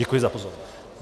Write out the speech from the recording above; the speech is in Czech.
Děkuji za pozornost.